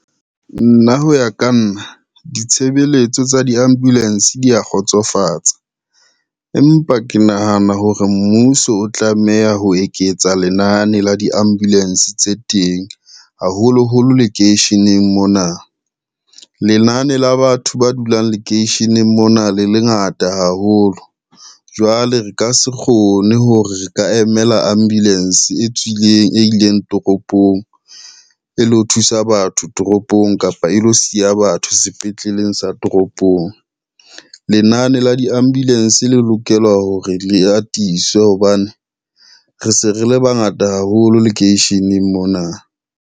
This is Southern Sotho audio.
Nna ho ya ka nna, ditshebeletso tsa di-ambulance di a kgotsofatsa, empa ke nahana hore mmuso o tlameha ho eketsa lenane la di-ambulance tse teng, haholoholo lekeisheneng mona. Lenane la batho ba dulang lekeisheneng mona le lengata haholo jwale, re ka se kgone hore re ka emela ambulance e tswileng e ileng toropong e lo thusa batho toropong kapa e lo siya batho sepetleleng sa toropong. Lenane la di-ambulance le lokela hore le atiswe hobane re se re le bangata haholo lekeisheneng mona.